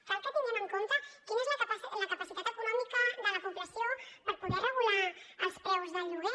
cal que tinguem en compte quina és la capacitat econòmica de la població per poder regular els preus del lloguer